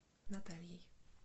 натальей